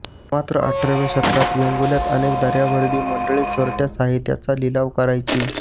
मात्र अठराव्या शतकात वेंगुल्र्यात अनेक दर्यावर्दी मंडळी चोरटया साहित्याचा लिलाव करायची